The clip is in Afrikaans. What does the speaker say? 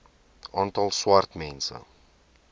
aantal swart mense